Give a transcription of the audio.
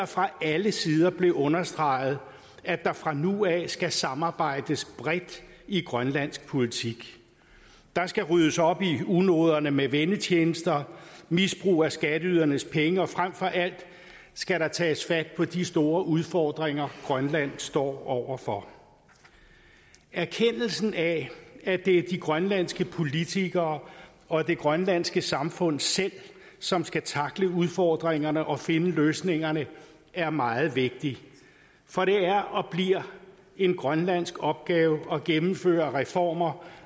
fra alle sider blev understreget at der fra nu af skal samarbejdes bredt i grønlandsk politik der skal ryddes op i unoderne med vennetjenester og misbrug af skatteydernes penge og frem for alt skal der tages fat på de store udfordringer grønland står over for erkendelsen af at det er de grønlandske politikere og det grønlandske samfund selv som skal tackle udfordringerne og finde løsningerne er meget vigtig for det er og bliver en grønlandsk opgave at gennemføre reformer